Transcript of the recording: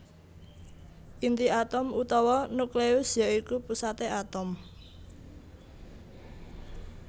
Inti atom utawa nukleus ya iku pusaté atom